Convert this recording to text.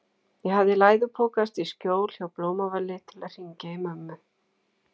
Ég hafði læðupokast í skjól hjá Blómavali til að hringja í mömmu.